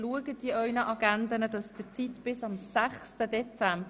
Reservieren Sie sich die Zeit bis zum 6. Dezember.